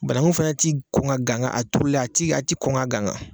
Bananku fana tɛ kɔn ka ganga a turulen a ti kɔn ka ganga